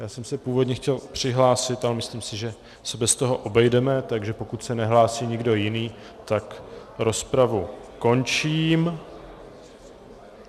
Já jsem se původně chtěl přihlásit, ale myslím si, že se bez toho obejdeme, takže pokud se nehlásí nikdo jiný, tak rozpravu končím.